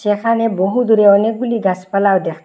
যেখানে বহুদূরে অনেকগুলি গাসপালা দ্যাখতে--